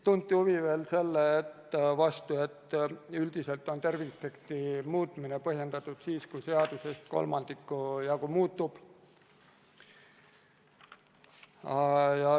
Tunti huvi veel selle vastu, et üldiselt on tervikteksti muutmine põhjendatud siis, kui seadusest kolmandiku jagu muutub.